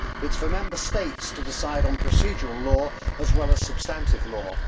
It is for Member States to decide on procedural law as well as substantive law.